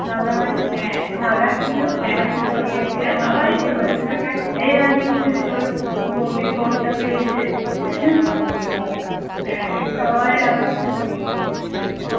দাদা ভাই রাগাচ্ছিল বলছিল ইয়ে এই রাজু তোর বৌদির কবিতা পেয়েছে সবাই রাগাচ্ছিল।